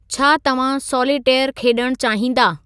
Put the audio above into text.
छा तव्हां सॉलिटेयरु खेलणु चाहींदा